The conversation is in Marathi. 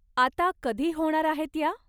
आता कधी होणार आहेत या ?